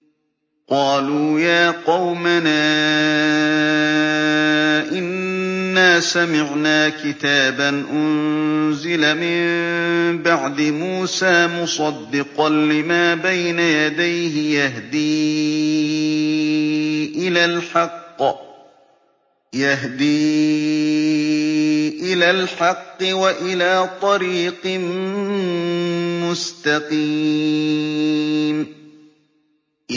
قَالُوا يَا قَوْمَنَا إِنَّا سَمِعْنَا كِتَابًا أُنزِلَ مِن بَعْدِ مُوسَىٰ مُصَدِّقًا لِّمَا بَيْنَ يَدَيْهِ يَهْدِي إِلَى الْحَقِّ وَإِلَىٰ طَرِيقٍ مُّسْتَقِيمٍ